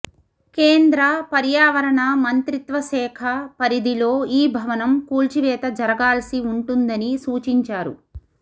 కేంద్ర పర్యావరణ మంత్రిత్వశాఖ పరిధిలో ఈ భవనం కూల్చివేత జరగాల్సి ఉంటుందని సూచించారు